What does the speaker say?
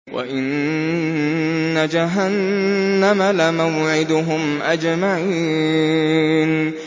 وَإِنَّ جَهَنَّمَ لَمَوْعِدُهُمْ أَجْمَعِينَ